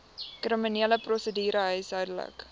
kriminele prosedure huishoudelike